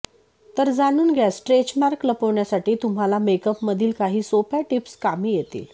तर जाणून घ्या स्ट्रेच मार्क लपवण्यासाठी तुम्हाला मेकअप मधील काही सोप्या टीप्स कामी येतील